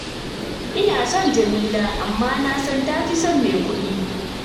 Ina son Jamila, amma na san ta fi son mai kuɗi